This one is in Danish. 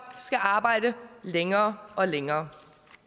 skal arbejde længere og længere